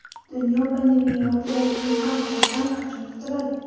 Dunyo pandemiya ortidan kelgan inqirozdan qachon qutuladi?.